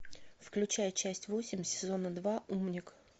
включай часть восемь сезона два умник